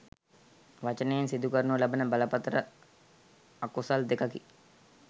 වචනයෙන් සිදු කරනු ලබන බරපතළ අකුසල් දෙකකි.